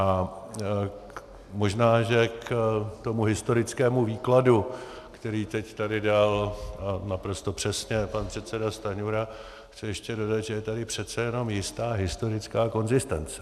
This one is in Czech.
A možná že k tomu historickému výkladu, který teď tady dal naprosto přesně pan předseda Stanjura, chci ještě dodat, že je tady přece jen jistá historická konzistence.